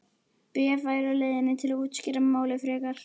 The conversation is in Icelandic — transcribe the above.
Bréf væri á leiðinni til að útskýra málið frekar.